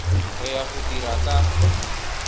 re ya go dira ka